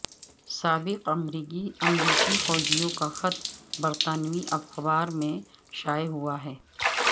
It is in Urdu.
سابق امریکی فوجیوں کا خط برطانوی اخبار میں شائع ہوا ہے